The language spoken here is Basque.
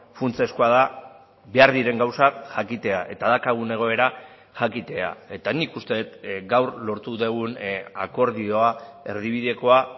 funtsezkoa da behar diren gauzak jakitea eta daukagun egoera jakitea eta nik uste dut gaur lortu dugun akordioa erdibidekoa